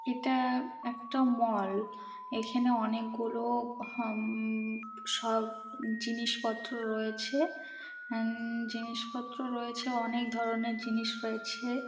এটা একটা মল এখানে অনেকগুলো উম সব জিনিসপত্র রয়েছে। জিনিসপত্র রয়েছে অনেক ধরনের জিনিস রয়েছে।